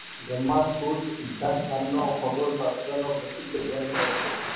બ્રહ્મા સકુંડ સિદ્ધાંત નામ નો ખગોળ શાસ્ત્ર નો પ્રસિદ્ધ ગ્રંથ રચ્યો.